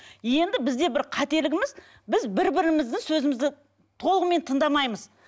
енді бізде бір қателігіміз біз бір бірімізді сөзімізді толығымен тыңдамаймыз